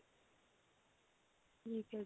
ਠੀਕ ਹੈ ਜੀ